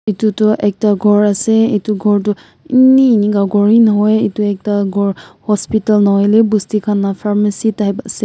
itutu ekta ghor ase itu ghor tu eni enika ghor hee nahoi itu ekta ghor hospital nahoi lebi busti khan laga pharmacy type ase.